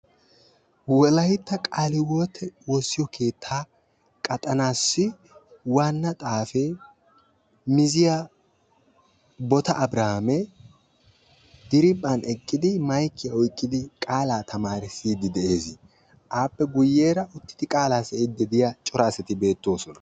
Wolaytta qaale hiywote woossiyo keettaa qaxxanaassi waana xaafee mizziya boota abrihaami diriiphan eqqidi maykkiya oyqidi qaalaa tamaarissiidi de'ees. appe guyeera guyeera uttidi qalaa siyiidi diya cora asati beetoosona.